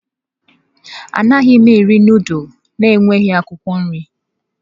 Anaghị m eri nudulu na-enweghị akwụkwọ nri.